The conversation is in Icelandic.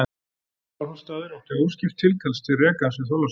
Skálholtsstaður átti óskipt tilkall til rekans við Þorlákshöfn.